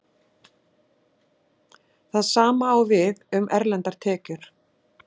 Það sama á við um erlendar tekjur.